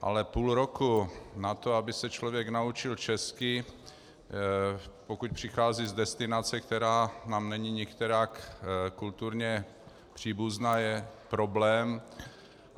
Ale půl roku na to, aby se člověk naučil česky, pokud přichází z destinace, která nám není nikterak kulturně příbuzná, je problém.